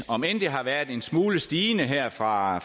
om end det har været en smule stigende her fra